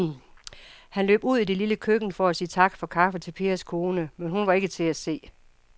Han løb ud i det lille køkken for at sige tak for kaffe til Pers kone, men hun var ikke til at se.